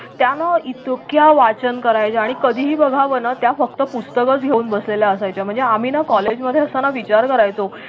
त्या ना इतक्या वाचन करायच्या आणि कधीही बघावं ना त्या फक्त पुस्तकच घेऊन बसलेल्या असायच्या म्हणजे आम्ही ना कॉलेज मध्ये असताना विचार करायचो